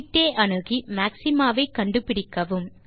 கிட்டே அணுகி மாக்ஸிமா வை கண்டு பிடிக்கவும்